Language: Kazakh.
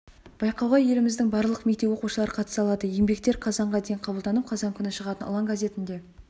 байқауға еліміздің барлық мектеп оқушылары қатыса алады еңбектер қазанға дейін қабылданып қазан күні шығатын ұлан газетінде